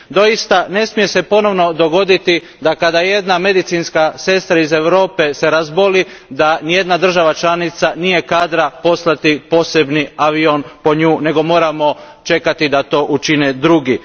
Doista ne smije se ponovo dogoditi da kada se jedna medicinska sestra iz Europe razboli, nijedna država članica nije kadra po nju poslati posebni avion, nego moramo čekati da to učine drugi.